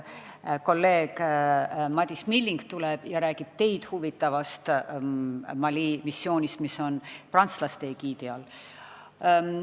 Kolleeg Madis Milling tuleb varsti ja räägib teid huvitavast Mali missioonist, mis on prantslaste egiidi all.